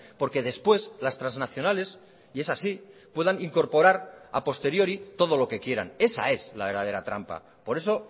porque después las transnacionales y es así puedan incorporar a posteriori todo lo que quieran esa es la verdadera trampa por eso